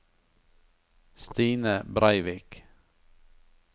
Stine Breivik